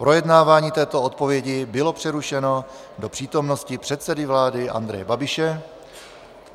Projednávání této odpovědi bylo přerušeno do přítomnosti předsedy vlády Andreje Babiše.